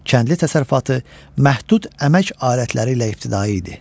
Kəndli təsərrüfatı məhdud əmək alətləri ilə ibtidai idi.